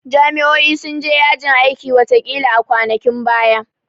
Jami'o'i sun je yajin aikin watakila a kwanakin baya